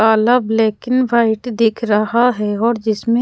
काला black in white दिख रहा है और जिसमे--